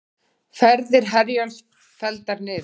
Ferðir Herjólfs felldar niður